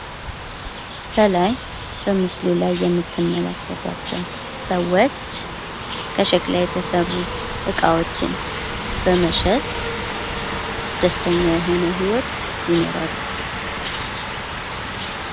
ከላይ ከምስሉ ላይ የምትመለከቷቸው ሰዎች ከሸክላ የተሰሩ እቃዎችን በመሸጥ ደስተኛ የሆነ ህይወት ይኖራሉ።